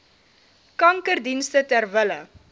kankerdienste ter wille